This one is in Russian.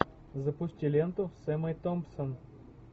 запусти ленту с эммой томпсон